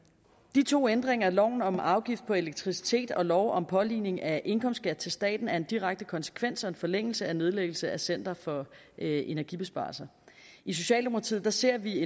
de to ændringer af lov om afgift på elektricitet og lov om påligning af indkomstskat til staten er en direkte konsekvens og forlængelse af nedlæggelse af center for energibesparelser i socialdemokratiet ser vi